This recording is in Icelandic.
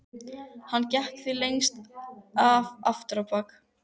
Hann gekk því lengst af aftur á bak.